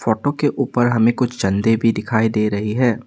Photo के ऊपर हमें कुछ झंडे भी दिखाई दे रही है।